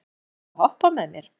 Borgþór, viltu hoppa með mér?